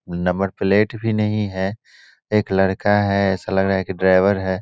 Number plate भी नहीं है एक लड़का है ऐसा लग रहा है की ड्राइवर है।